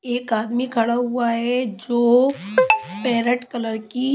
एक आदमी खड़ा हुआ है जो पैरेट कलर की।